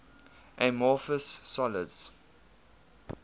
amorphous solids